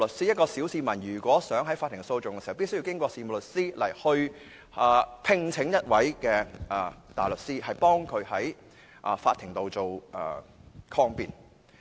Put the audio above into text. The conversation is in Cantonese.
一名小市民想提出法庭訴訟，便須通過事務律師聘請大律師為他在法庭抗辯。